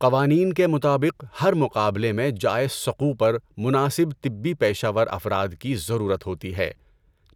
قوانین کے مطابق ہر مقابلہ میں جائے سقوع پر مناسب طبی پیشہ ور افراد کی ضرورت ہوتی ہے،